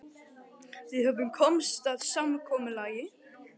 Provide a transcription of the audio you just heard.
Höfum við komist að samkomulagi?